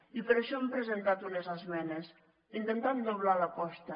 i per això hem presentat unes esmenes intentant doblar l’aposta